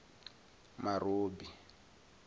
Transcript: marobi